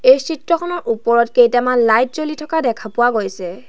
এই চিত্ৰখনৰ ওপৰত কেইটামান লাইট জ্বলি থকা দেখা পোৱা গৈছে।